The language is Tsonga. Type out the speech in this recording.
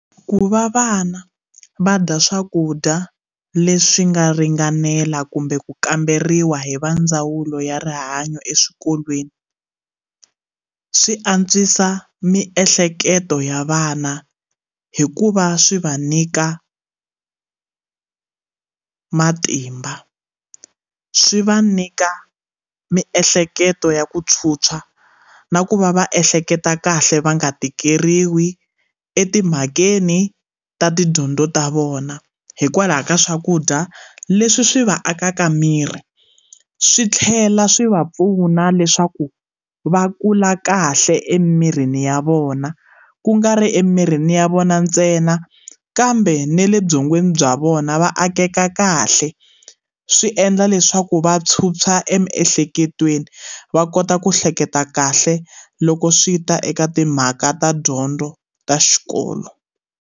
Ku va vana va dya swakudya leswi nga ringanela kumbe ku kamberiwa hi va ndzawulo ya rihanyo eswikolweni swi antswisa miehleketo ya vana hikuva swi va nyika matimba swi va nyika miehleketo ya ku tshwutshwa na ku va va ehleketa kahle va nga tikeriwi etimhakeni ta tidyondzo ta vona hikwalaho ka swakudya leswi swi va akaka miri swi tlhela swi va pfuna leswaku va kula kahle emirini ya vona ku nga ri emirini ya vona ntsena kambe na le byongweni bya vona va akeka kahle swi endla leswaku va tshutshwa emiehleketweni va kota ku hleketa kahle loko swi ta eka timhaka ta dyondzo ta xikolo.